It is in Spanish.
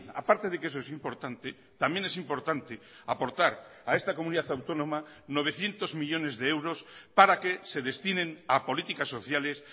a parte de que eso es importante también es importante aportar a esta comunidad autónoma novecientos millónes de euros para que se destinen a políticas sociales